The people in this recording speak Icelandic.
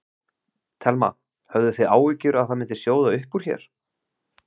Telma: Höfðuð þið áhyggjur að það myndi sjóða upp úr hér?